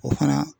O fana